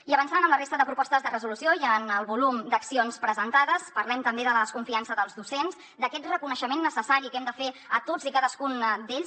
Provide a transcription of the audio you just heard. i avançant amb la resta de propostes de resolució i en el volum d’accions presentades parlem també de la desconfiança dels docents d’aquest reconeixement necessari que hem de fer a tots i cadascun d’ells